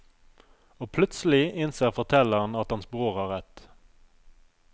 Og plutselig innser fortelleren at hans bror har rett.